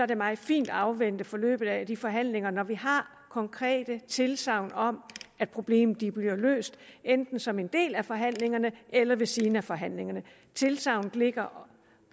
det meget fint at afvente forløbet af de forhandlinger når vi har konkrete tilsagn om at problemerne bliver løst enten som en del af forhandlingerne eller ved siden af forhandlingerne tilsagnet ligger